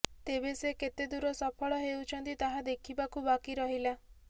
ତେବେ ସେ କେତେ ଦୂର ସଫଳ ହେଉଛନ୍ତି ତାହା ଦେଖିବାକୁ ବାକି ରହିଲା